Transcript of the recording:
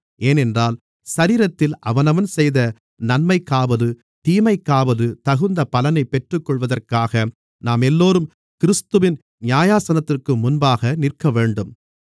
ஏனென்றால் சரீரத்தில் அவனவன் செய்த நன்மைக்காவது தீமைக்காவது தகுந்த பலனைப் பெற்றுக்கொள்வதற்காக நாமெல்லோரும் கிறிஸ்துவின் நியாயாசனத்திற்கு முன்பாக நிற்கவேண்டும்